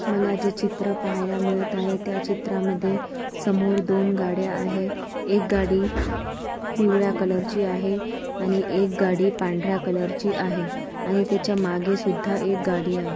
मला जे चित्र पाहायला मिळत आहे त्याचित्रामध्ये समोर दोन गाड्या आहे. एक गाडी पिवळ्या कलरची आहे आणि एक गाडी पांढर्‍या कलरची आहे आणि तेच्या मागेसुद्धा एक गाडी आहे.